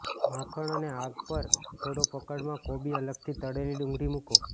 માખણ અને આગ પર થોડો પકડ માં કોબી અલગથી તળેલી ડુંગળી મૂકો